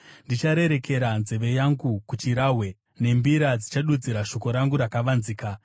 Ndicharerekera nzeve yangu kuchirahwe; nembira ndichadudzira shoko rangu rakavanzika.